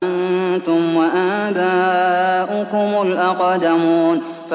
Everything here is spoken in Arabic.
أَنتُمْ وَآبَاؤُكُمُ الْأَقْدَمُونَ